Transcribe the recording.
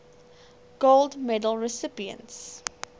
gold medal recipients